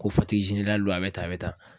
Ko don a bɛ tan a bɛ tan.